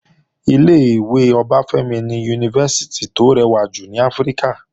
Ilé-ìwé Ọbáfẹ́mi ni Yunifásítì tó rẹwà jù ní Áfíríkà